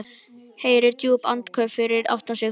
Heyrir djúp andköf fyrir aftan sig.